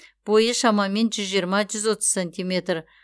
бойы шамамен жүз жиырма жүз отыз сантиметр